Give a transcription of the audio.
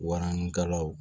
Waranikalaw